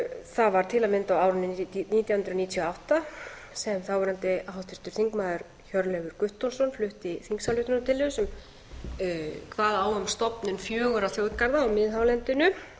það var til að mynda á árinu nítján hundruð níutíu og átta sem þáverandi háttvirtur þingmaður hjörleifur guttormsson flutti þingsályktunartillögu sem kvað á um stofnun fjögurra þjóðgarða á miðhálendinu